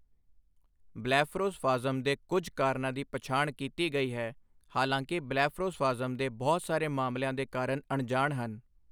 Blepharospasm ਦੇ ਕੁੱਝ ਕਾਰਨਾਂ ਦੀ ਪਛਾਣ ਕੀਤੀ ਗਈ ਹੈ, ਹਾਲਾਂਕਿ ਬਲੈਫਰੋਸਫਾਜ਼ਮ ਦੇ ਬਹੁਤ ਸਾਰੇ ਮਾਮਲਿਆਂ ਦੇ ਕਾਰਨ ਅਣਜਾਣ ਹਨ।